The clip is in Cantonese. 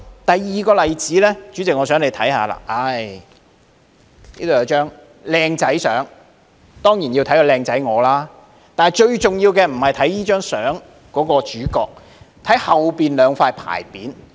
第二個例子，代理主席，我想你可以看看這張相片，當中有我俊俏的樣子，但最重要的並不是相中的主角，而是後面的兩塊牌匾。